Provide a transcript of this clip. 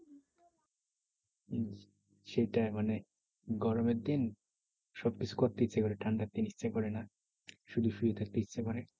শীতে মানে গরমের দিন সব কিছু করতে ইচ্ছে করে। ঠান্ডার দিনে ইচ্ছা করেনা। শুধু শুয়ে থাকতে ইচ্ছা করে।